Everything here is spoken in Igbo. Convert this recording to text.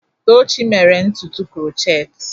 Tochi mere ntutu krochetị.